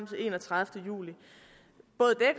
den enogtredivete juli